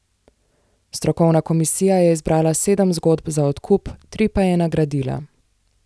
Strokovna komisija je izbrala sedem zgodb za odkup, tri pa je nagradila.